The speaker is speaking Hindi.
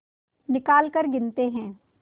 निकालकर गिनते हैं